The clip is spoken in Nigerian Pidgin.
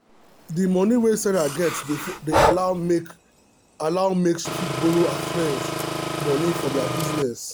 the moni wey sarah get dey allow make allow make she fit borrow her friends moni for their business.